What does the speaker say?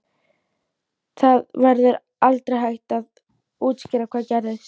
Það verður aldrei hægt að útskýra hvað gerðist.